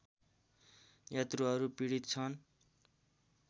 यात्रुहरू पीडित छन्